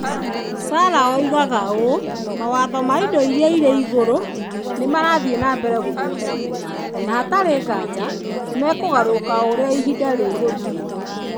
Sarah oigaga ũũ: "Mawatho ma indo iria irĩ igũrũ nĩ marathiĩ na mbere gũthondekwo, na hatarĩ nganja nĩ mekũgarũrũka o ũrĩa ihinda rĩgũthiĩ".